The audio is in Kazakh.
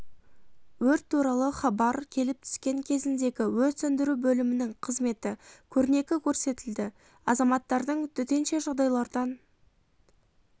өрт туралы хабар келіп түскен кезіндегі өрт сөндіру бөлімінің қызметі көрнекі көрсетілді азаматтардың төтенше жағдайлардан